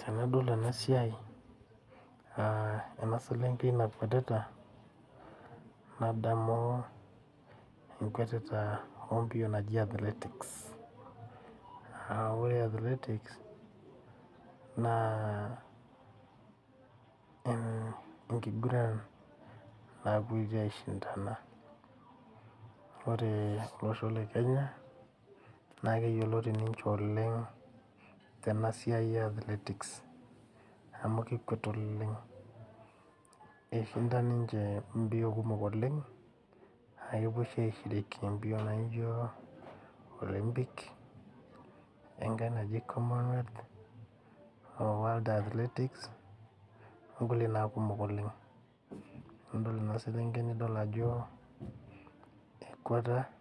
Tenadol ena siai ,ena selenken nakwetita nadamu enkiguran naji athletics aa ore athletics enkiguran nakweti aishindana. ore olosho lekenya naa keyioloti ninche tena siai eathletics amu kekwet oleng eishinda ninche mbio kumok oleng naa kepuo oshi aishiriki mpio naa Olympics[sc] wenkai naji commonwealth o world athletics onkulie naa kumok oleng ,idol naa ema selenkei ajo ekweteta oleng